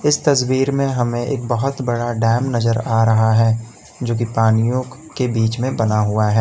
इस तस्वीर में हमें एक बहुत बडा डैम नजर आ रहा है जो कि पानीयों के बीच में बना हुआ है।